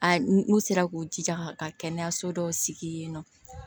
A n'u sera k'u jija ka kɛnɛyaso dɔw sigi yen nɔ